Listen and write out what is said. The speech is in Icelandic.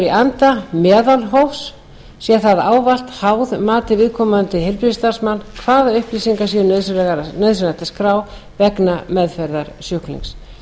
í anda meðalhófs sé það ávallt háð mati viðkomandi heilbrigðisstarfsmanns hvaða upplýsingar sé nauðsynlegt að skrá vegna meðferðar sjúklings